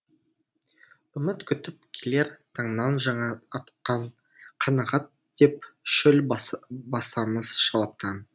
үміт күтіп келер таңнан жаңа атқан қанағат деп шөл басамыз шалаптан